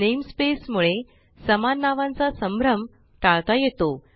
namespace मुळे समान नावांचा संभ्रम टाळता येतो